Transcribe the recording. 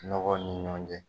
Nɔgɔ ni ɲɔn cɛ